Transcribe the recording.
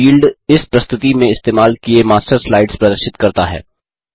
field इस प्रस्तुति में इस्तेमाल किये मास्टर स्लाइड्स प्रदर्शित करता है